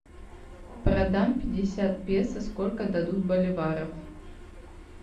продам пятьдесят песо сколько дадут боливаров